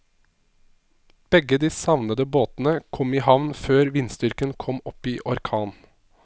Begge de savnede båtene kom i havn før vindstyrken kom opp i orkan.